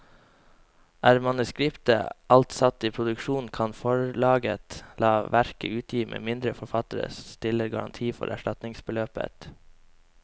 Er manuskriptet alt satt i produksjon, kan forlaget la verket utgi med mindre forfatteren stiller garanti for erstatningsbeløpet.